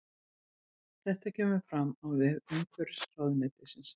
Þetta kemur fram á vef umhverfisráðuneytisins